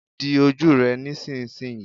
Di ojú rẹ nísinsìnyí.